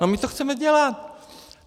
No my to chceme dělat.